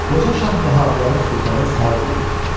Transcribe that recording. Qoca şah vəhabilərin sultanı Səud idi.